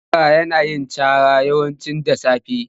Zakara yana yin cara yawanci da sasafe.